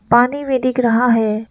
पानी भी दिख रहा है।